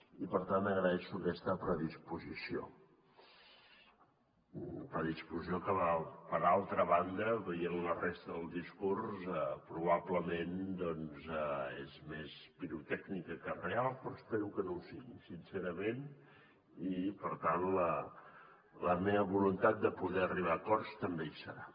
i per tant agraeixo aquesta predisposició predisposició que per altra banda veient la resta del discurs probablement és més pirotècnica que real però espero que no ho sigui sincerament i per tant la meva voluntat de poder arribar a acords també hi serà